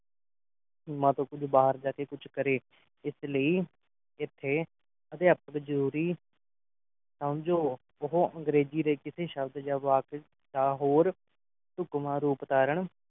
ਸੀਮਾ ਤੋਂ ਬਾਹਰ ਜਾ ਕੇ ਕੁਝ ਕਰੇ ਇਸ ਲਈ ਏਥੇ ਅਧਿਆਪਕ ਜਰੂਰੀ ਸਮਝੋ ਉਹ ਅੰਗਰੇਜ਼ੀ ਦੇ ਕਿਸੇ ਸ਼ਬਦ ਜਾਂ ਵਾਕ ਦਾ ਹੋਰ ਢੁਕਵਾਂ ਰੂਪ ਧਾਰਨ